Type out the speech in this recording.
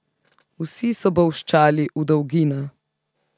Vsi so bolščali v dolgina.